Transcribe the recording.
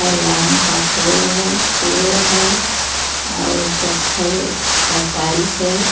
ये लाइन का पुल हे पेड़ हे और पत्थल का टाइल्स हे.